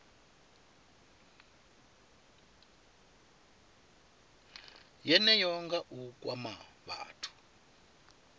yeneyo nga u kwama vhathu